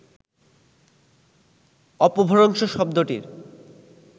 অপভ্রংশ শব্দটির